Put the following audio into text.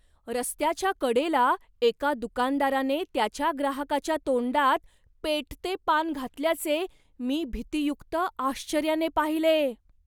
रस्त्याच्या कडेला एका दुकानदाराने त्याच्या ग्राहकाच्या तोंडात पेटते पान घातल्याचे मी भीतीयुक्त आश्चर्याने पाहिले.